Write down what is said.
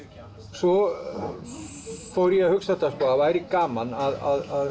svo fór ég að hugsa að það væri gaman að